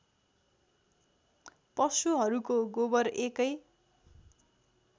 पशुहरूको गोबर एकै